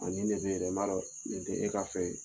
nin de bɛ ye n b'a dɔn nin tɛ e ka fɛ ye.